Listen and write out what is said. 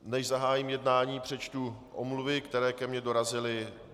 Než zahájím jednání, přečtu omluvy, které ke mně dorazily.